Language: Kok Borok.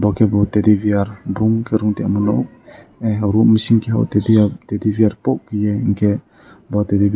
hingke bo taddy beer brongke room ke toimono hapo room bising ke bo tatty beer tok toye hingke o tatty be --